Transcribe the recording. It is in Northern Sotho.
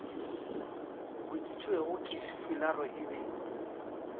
boditšwego ke sefularo e be